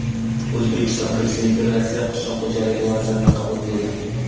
O‘zbekiston Prezidenti Rossiya qishloq xo‘jaligi vazirini qabul qildi.